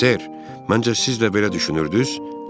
Ser, məncə siz də belə düşünürdünüz?